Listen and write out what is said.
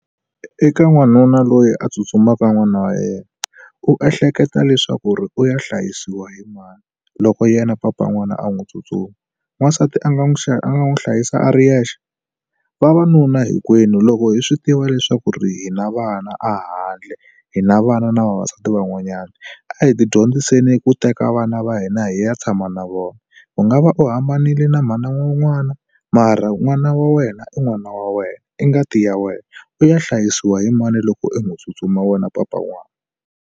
Eka n'wanuna loyi a tsutsumaka n'wana wa yena. U ehleketa leswaku ri u ya hlayisiwa hi mani loko yena papa n'wana a n'wi tsutsuma? N'wansati a nga n'wi a nga n'wi hlayisa a ri yexe? Vavanuna hinkwenu loko hi swi tiva leswaku ri hi na vana ahandle, hi na vana na vavasati van'wanyana a hi ti dyondziseni ku teka vana va hina hi ya tshama na vona. U nga va u hambanile na mhani wa n'wana, mara n'wana wa wena i n'wana wa wena, i ngati ya wena. U ya hlayisiwa hi mani loko u n'wi tsutsumi wa wena papa n'wana.